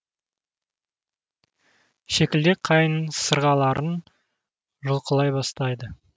шекілдек қайыңның сырғаларын жұлқылай бастайды